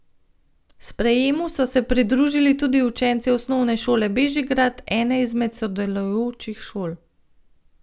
Sprejemu so se pridružili tudi učenci Osnovne šole Bežigrad, ene izmed sodelujočih šol.